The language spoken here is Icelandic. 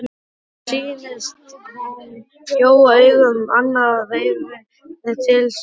Henni sýnist hann gjóa augunum annað veifið til sín.